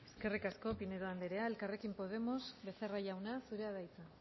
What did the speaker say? eskerrik asko pinedo anderea elkarrekin podemos becerra jauna zurea da hitza